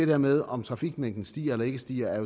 der med om trafikmængden stiger eller ikke stiger jo